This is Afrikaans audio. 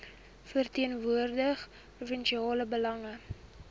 verteenwoordig provinsiale belange